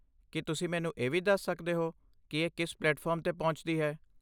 ਕੀ ਤੁਸੀਂ ਮੈਨੂੰ ਇਹ ਵੀ ਦੱਸ ਸਕਦੇ ਹੋ ਕਿ ਇਹ ਕਿਸ ਪਲੇਟਫਾਰਮ 'ਤੇ ਪਹੁੰਚਦੀ ਹੈ?